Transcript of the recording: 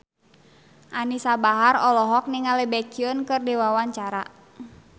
Anisa Bahar olohok ningali Baekhyun keur diwawancara